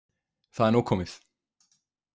Það er nóg komið